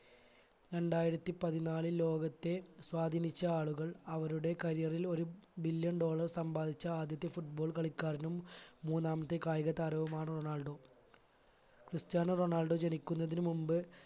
രണ്ടായിരത്തി പതിനാലിൽ ലോകത്തെ സ്വാധിനിച്ച ആളുകൾ അവരുടെ career ൽ ഒരു billion dollar സമ്പാദിച്ച ആദ്യത്തെ footballer കളിക്കാരനും മൂന്നാമത്തെ കായികതാരവുമാണ് റൊണാൾഡോ ക്രിസ്ത്യാനോ റൊണാൾഡോ ജനിക്കുന്നതിന് മുമ്പ്